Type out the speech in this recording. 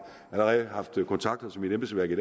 allerede haft kontakt til mit embedsværk i